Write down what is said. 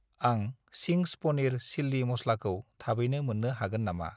आं चिंस पनिर चिल्लि मस्लाखौ थाबैनो मोन्नो हागोन नामा?